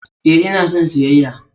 Ee, ina son siyayya!